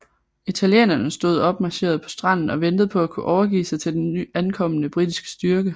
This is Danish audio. Italienerne stod opmarcheret på stranden og ventede på at kunne overgive sig til den ankommende britiske styrke